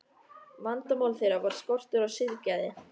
Vandamál þeirra var skortur á siðgæði.